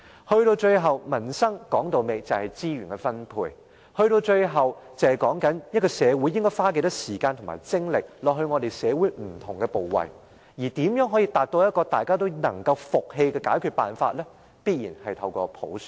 說到底，民生是資源分配，是討論社會應花多少時間和精力到不同部位，而如何達到大家都能服氣的解決辦法，必然要通過普選。